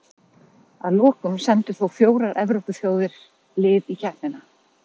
Að lokum sendu þó fjórar Evrópuþjóðir lið í keppnina.